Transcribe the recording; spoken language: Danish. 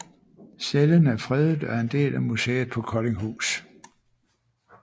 Cellen er fredet og er en del af museet på Koldinghus